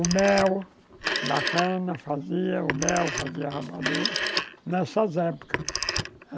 O mel da cana fazia, o mel fazia a rapadura nessas épocas.